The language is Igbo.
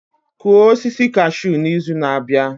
Kụọ osisi cashew n'izu na-abịa